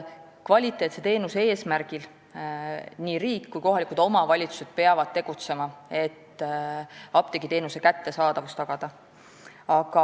Kvaliteetse teenuse ja apteegiteenuse kättesaadavuse tagamise eesmärgil peavad tegutsema nii riik kui ka kohalikud omavalitsused.